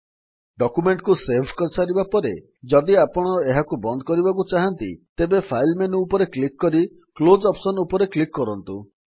document କୁ save କରିସାରିବା ପରେ ଯଦି ଆପଣ ଏହାକୁ ବନ୍ଦ କରିବାକୁ ଚାହାଁନ୍ତି ତେବେ ଫାଇଲ୍ ମେନୁ ଉପରେ କ୍ଲିକ୍ କରି କ୍ଲୋଜ୍ ଅପ୍ସନ୍ ଉପରେ କ୍ଲିକ୍ କରନ୍ତୁ